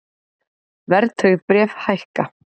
Verðtryggð bréf hækka